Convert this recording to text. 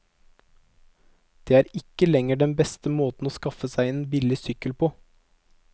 Det er ikke lenger den beste måten å skaffe seg en billig sykkel på.